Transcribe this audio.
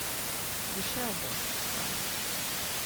Prišel bo, fant.